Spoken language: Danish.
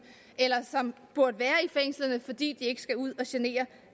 eller som burde være i fængslerne fordi de ikke skal ud og genere